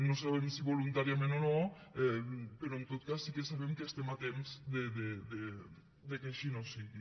no sabem si voluntàriament o no però en tot cas sí que sabem que estem a temps que així no sigui